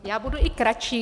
Já budu i kratší.